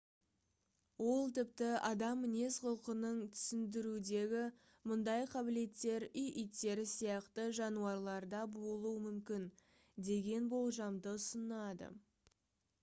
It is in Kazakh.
ол тіпті адам мінез-құлқын түсіндірудегі мұндай қабілеттер үй иттері сияқты жануарларда болуы мүмкін деген болжамды ұсынады